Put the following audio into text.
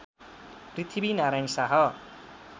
Prithvi Narayan Shah